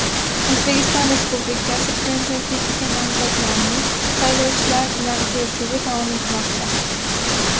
O‘zbekiston Respublikasi Prezidentligiga nomzodlarning saylovchilar bilan uchrashuvi davom etmoqda.